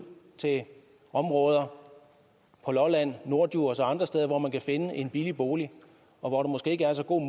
til områder på lolland norddjurs og andre steder hvor man kan finde en billig bolig og hvor der måske ikke er så gode